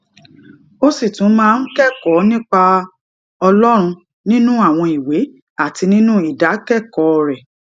ó sì tún máa ń kékòó nípa ọlórun nínú àwọn ìwé àti nínú ìdákékòó rè